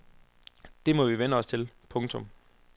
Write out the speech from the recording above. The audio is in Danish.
Det må vi vænne os til. punktum